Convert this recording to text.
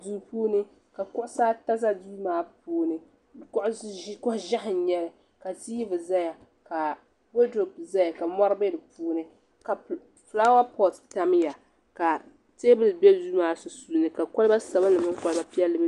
Duu puuni ka kuɣusi ata za duu maa puuni kuɣu ʒiɛhi n nyɛli ka tiivi zaya ka wodurope zaya ka mɔri bɛ di puuni ka filaawa pɔt tam ya ka teebuli bɛ duu maa sunsuuni ka kɔliba sabinli mini kɔliba piɛlli.